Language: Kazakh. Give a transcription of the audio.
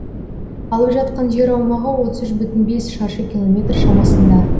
алып жатқан жер аумағы отыз үш бүтін бес шаршы километр шамасында